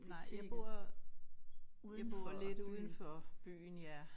Nej jeg bor jeg bor lidt udenfor byen ja